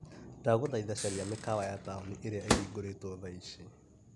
Ndagũthaitha caria mĩkawa ya tauni ĩrĩa ĩhingũrĩtwo thaa ici.